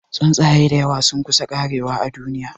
Tsuntsaye dayawa sun kusa karewa a duniya